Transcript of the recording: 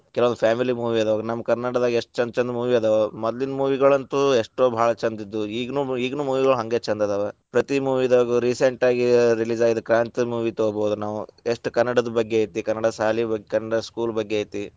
ಕೆಲವು family movie ಅದಾವ, ನಮ್ ಕನ್ನಡದಾಗ ಎಷ್ಟ ಛಂದ ಛಂದ movie ಅದಾವ. ಮದ್ಲೀನ್ movie ಗಳಂತು ಎಷ್ಟೋ ಭಾಳ ಛಂದ ಇದ್ವು. ಈಗಿನ್ ಈಗಿನ್ movie ಗಳು ಹಂಗ ಛಂದ ಅದಾವ. ಪ್ರತಿ movie ದಾಗೂ recent ಆಗಿ release ಆಗಿದ್ದ ಕ್ರಾಂತಿ movie ತಗೊಬಹುದು ನಾವು. ಎಷ್ಟ್ ಕನ್ನಡದ ಬಗ್ಗೆ ಐತಿ ಕನ್ನಡ ಸಾಲಿ ಬಗ್ಗೆ ಕನ್ನಡ school ಬಗ್ಗೆ ಐತಿ.